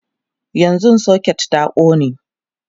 yanzun socket din ta ƙone